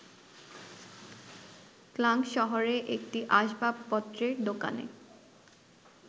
Klang শহরে একটি আসবাবপত্রের দোকানে